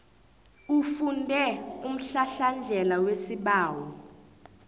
ufunde umhlahlandlela wesibawo